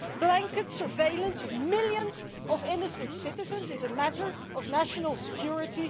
Is blanket surveillance of millions of innocent citizens a matter of national security?